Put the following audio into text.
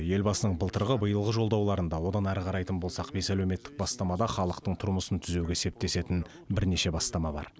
елбасының былтырғы биылғы жолдауларында одан әрі қарайтын болсақ бес әлеуметтік бастамада халықтың тұрмысын түзеуге септесетін бірнеше бастама бар